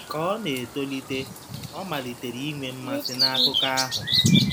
Ka ọ na-etolite, ọ malitere inwe mmasị n'akụkọ ahụ.